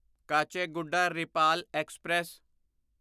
Kacheguda Repalle express